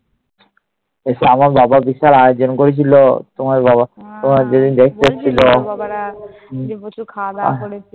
সে আমার বাবা বিশাল আয়োজন করেছিল। তোমারা যেদিন দেখতে এসেছিল।